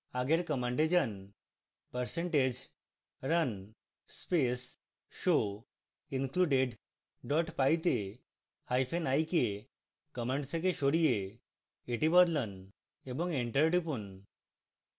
আগের command যান